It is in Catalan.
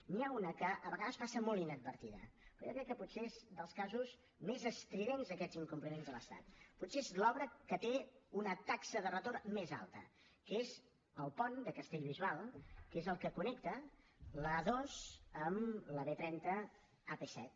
n’hi ha una que a vegades passa molt inadvertida però jo crec que potser és dels casos més estridents d’aquests incompliments de l’estat potser és l’obra que té una taxa de retorn més alta que és el pont de castellbisbal que és el que connecta l’a dos amb la b trenta ap set